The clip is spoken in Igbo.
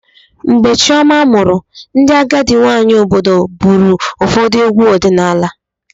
Mgbe Chioma mụrụ, ndị agadi nwanyị obodo bụrụ ụfọdụ egwu ọdịnala.